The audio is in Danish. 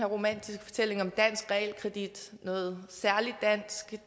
romantiske fortælling om dansk realkredit noget særlig dansk